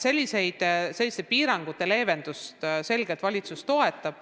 Selliste piirangute leevendamist valitsus selgelt toetab.